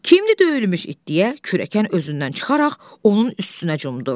Kimdir döyülmüş it deyə kürəkən özündən çıxaraq onun üstünə cumdu.